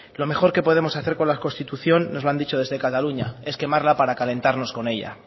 lo mejor que podemos hacer con la constitución nos lo han dicho desde cataluña es quemarla para calentarnos con ella